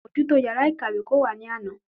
Amójútó yàrá ìkàwé kò wá ní àná.